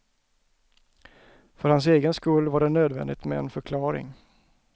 För hans egen skull var det nödvändigt med en förklaring.